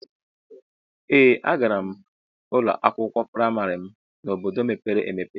Ee a gara m ụlọ akwụkwọ praịmarị m n'obodo mepere emepe.